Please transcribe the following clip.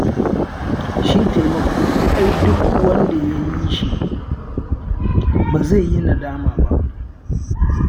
Shi taimako ai duk wanda ya yi shi, bai zai yi nadama ba.